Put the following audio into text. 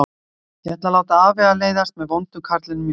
Ég væri að láta afvegaleiðast með vonda karlinum í sögunni.